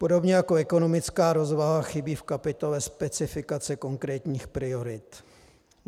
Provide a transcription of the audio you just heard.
Podobně jako ekonomická rozvaha chybí v kapitole specifikace konkrétních priorit.